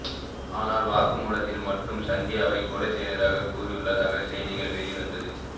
ஆனால் வாக்குமூலத்தில் மட்டும் சந்தியாவை கொலை செய்ததாக கூறியுள்ளதாக செய்திகள் வெள்வந்தது